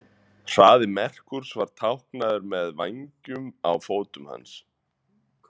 Hraði Merkús var táknaður með með vængjum á fótum hans.